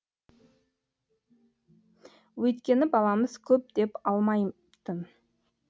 өйткені баламыз көп деп алмайтын